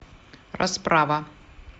расправа